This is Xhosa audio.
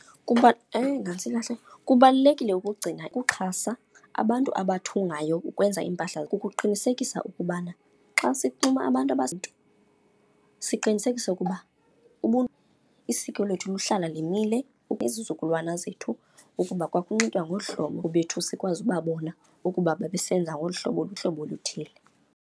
Eyi, nantsi ibaleka. Kubalulekile ukugcina ukuxhasa abantu abathungayo ukwenza iimpahla. Kukuqinisekisa ukubana xa sixhuma abantu siqinisekise ukuba isiko lethu luhlala limile izizukulwana zethu ukuba kwakunxitywa ngolu hlobo bethu sikwazi ubabona ukuba babesenza ngolu hlobo, luhlobo oluthile.